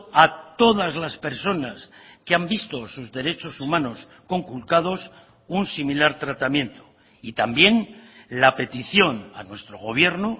a todas las personas que han visto sus derechos humanos conculcados un similar tratamiento y también la petición a nuestro gobierno